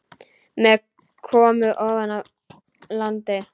Menn komu ofan af landi.